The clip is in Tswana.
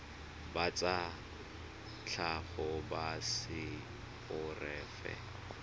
ba tsa tlhago ba seporofe